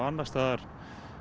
annars staðar